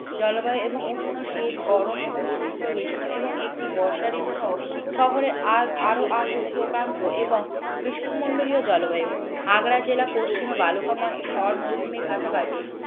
জলবায়ু এবং উষ্ণ শীত গরম এবং শুস্ক একটি বর্ষা ঋতুসহ শহরে আর আরও আদ্র উপক্রান্ত এবং বিষ্ণুমন্ডলীয় জলবায়ু আগ্রা জেলা পশ্চিমে বালুকাময় থর মরুভূমির কাছাকাছি